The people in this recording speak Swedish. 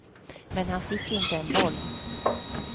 Men han fick inte en boll.